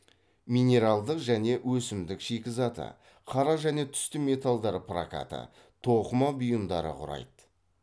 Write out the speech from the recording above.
минералдық және өсімдік шикізаты қара және түсті металдар прокаты тоқыма бұйымдары құрайды